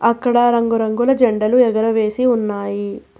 అక్కడ రంగు రంగుల జెండలు ఎగరవేసి ఉన్నాయి.